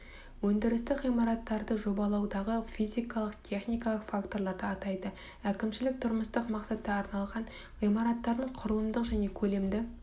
өндірістік ғимараттарды жобалаудағы физикалық техникалық факторларды атайды әкімшілік тұрмыстық мақсатқа арналған ғимараттардың құрылымдық және көлемді